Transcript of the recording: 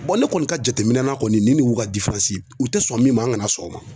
ne kɔni ka jateminɛ na kɔni nin y'u ka u tɛ sɔn min ma an kana sɔn o ma